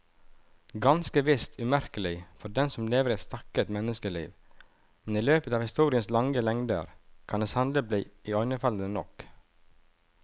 Ganske visst umerkelig for den som lever et stakket menneskeliv, men i løpet av historiens lange lengder kan det sannelig bli iøynefallende nok.